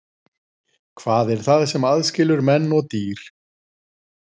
Hvað er það sem aðskilur menn og dýr?